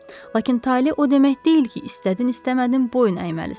Lakin taley o demək deyil ki, istədin, istəmədin boyun əyməlisən.